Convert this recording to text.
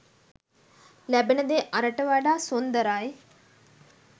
ලැබෙන දේ අරට වඩා සුන්දරයි.